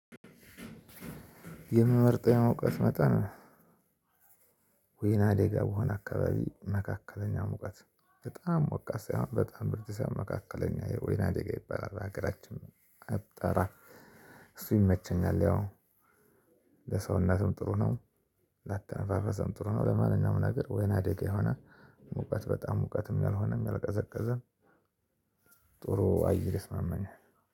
የምመርጠው እሙቀት መጠን ወይና ደጋ በሆነ አካባቢ መካከለኛ ሙቀት በጣም ሞቃት ሳይሆን በጣም ብርድ ሳይሆን መካከለኛ የወይና ደጋ ይበላል በአገራችን አጠራር እሱ ይመቸኛል። ያው ለሰውነትም ጥሩ ነው ላተነፍፈስም ጥሩ ነው። ለማንኛውም ነገር ወይና ደጋ የሆነ ሙቀት በጣም ሙቀትም ያልሆነም ያልቀዘቀዘም ጥሩ አየር ይስማማኛል